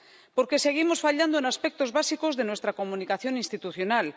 porque seguimos fallando en aspectos básicos de nuestra comunicación institucional.